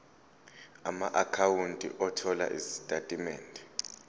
amaakhawunti othola izitatimende